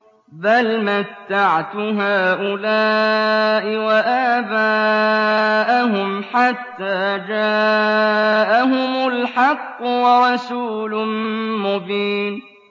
بَلْ مَتَّعْتُ هَٰؤُلَاءِ وَآبَاءَهُمْ حَتَّىٰ جَاءَهُمُ الْحَقُّ وَرَسُولٌ مُّبِينٌ